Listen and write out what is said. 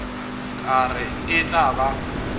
ka re e tla ba